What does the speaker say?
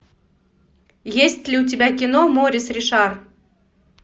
есть ли у тебя кино морис ришар